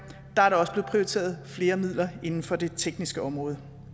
er blevet prioriteret flere midler inden for det tekniske område